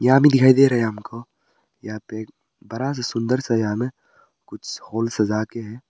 आदमी दिखाई दे रहा है आपको यहां पे बड़ा सा सुंदर सा यहां में कुछ हॉल सजा के हैं।